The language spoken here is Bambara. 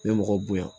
N bɛ mɔgɔw bonya